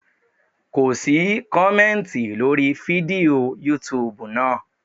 Ko sí kọ̀mẹ́ntì lórí fídíò yútubù náà.